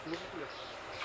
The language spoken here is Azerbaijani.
Suşuluqdur.